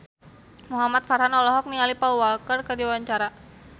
Muhamad Farhan olohok ningali Paul Walker keur diwawancara